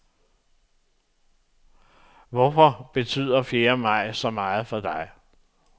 Hvorfor betyder fjerde maj så meget for dig?